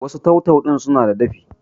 wasu tau-tau ɗin suna da dafi?